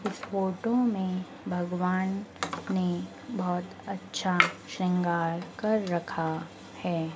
इस फोटो में भगवान ने बहोत अच्छा श्रृंगार कर रखा है।